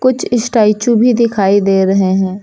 कुछ स्टैचू भी दिखाई दे रहे हैं।